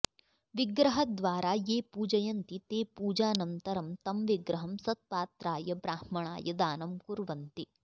विग्रहद्वारा ये पूजयन्ति ते पूजानन्तरं तं विग्रहं सत्पात्राय ब्राह्मणाय दानं कुर्वन्ति